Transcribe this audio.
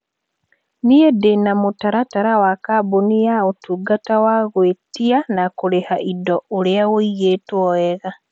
Niĩ ndĩna mũtaratara wa kambuni ya ũtungata wa gwĩtia na kũrĩha indo urĩa wĩigĩtwo wega.